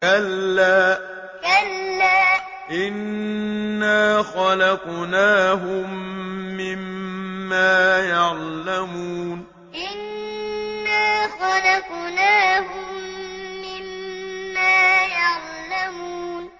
كَلَّا ۖ إِنَّا خَلَقْنَاهُم مِّمَّا يَعْلَمُونَ كَلَّا ۖ إِنَّا خَلَقْنَاهُم مِّمَّا يَعْلَمُونَ